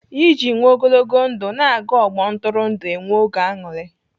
Iji nwee ogologo ndụ, na-aga ọgbọ ntụrụndụ enwe oge aṅụrị.